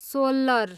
सोल्लर